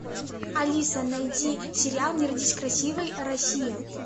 алиса найди сериал не родись красивой россия